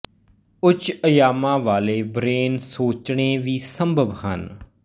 ਉੱਚ ਅਯਾਮਾਂ ਵਾਲੇ ਬਰੇਨ ਸੋਚਣੇ ਵੀ ਸੰਭਵ ਹਨ